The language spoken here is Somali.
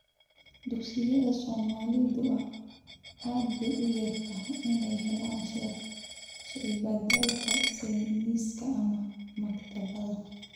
Dugsiyada Soomaalidu aad bay u yar tahay inay helaan shaybaadhka sayniska ama maktabadaha.